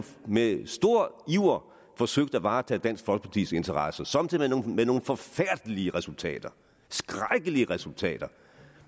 med stor iver forsøgt at varetage dansk folkepartis interesser somme tider med nogle forfærdelige resultater skrækkelige resultater